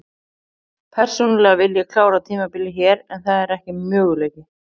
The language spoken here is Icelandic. Persónulega vil ég klára tímabilið hér en það er ekki möguleiki.